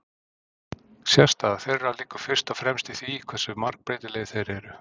Sérstaða þeirra liggur fyrst og fremst í því hversu margbreytilegir þeir eru.